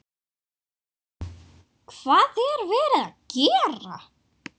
Hvað er verið að gera?